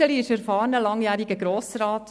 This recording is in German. Iseli ist ein erfahrener, langjähriger Grossrat.